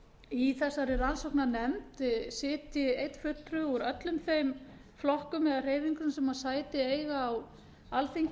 í þessari rannsóknarnefnd sitji einn fulltrúi úr öllum þeim flokkum eða hreyfingum sem sæti eiga á alþingi